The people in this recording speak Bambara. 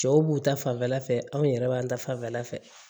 Cɛw b'u ta fanfɛla fɛ anw yɛrɛ b'an ta fanfɛla fɛ